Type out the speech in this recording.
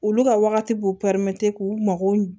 Olu ka wagati b'u k'u mago